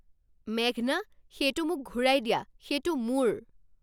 মেঘনা, সেইটো মোক ঘূৰাই দিয়া। সেইটো মোৰ!